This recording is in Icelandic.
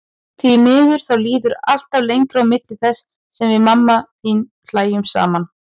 Því miður, þá líður alltaf lengra á milli þess sem við mamma þín hlæjum saman.